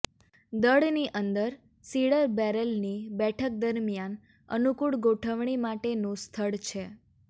દળની અંદર સિડર બેરલની બેઠક દરમિયાન અનુકૂળ ગોઠવણી માટેનું સ્થળ છે